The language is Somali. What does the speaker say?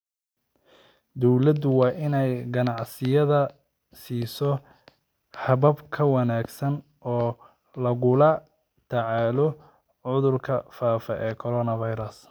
Dawladdu waa inay ganacsiyada siiso habab ka wanaagsan oo lagula tacaalo cudurkan faafa ee coronavirus.